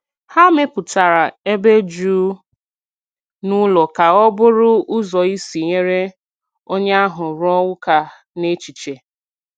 Ha mepụtara ebe jụụ n’ụlọ ka ọ bụrụ ụzọ isi nyere onye ahụ rụọ ụka n’echiche.